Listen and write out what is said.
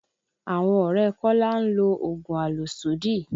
Àwọn ọ̀rẹ́ Kola ń lo oògùn àlòsódì